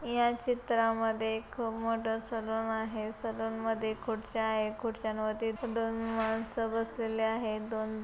या चित्रामध्ये एक मोठं सलून आहे सलून मध्ये खुर्च्या आहे खुर्च्यांवरती दोन माणसं बसलेले आहे दोन--